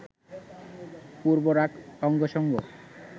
পূর্ব্বরাগ অঙ্গসঙ্গ